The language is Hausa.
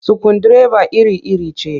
Sukundireba iri-iri ce